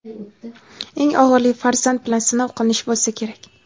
Eng og‘iri farzand bilan sinov qilinish bo‘lsa kerak.